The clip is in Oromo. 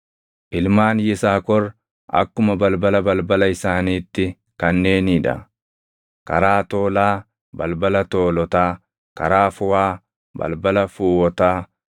Ilmaan Yisaakor akkuma balbala balbala isaaniitti kanneenii dha: karaa Toolaa, balbala Toolotaa; karaa Fuwaa, balbala Fuuwotaa;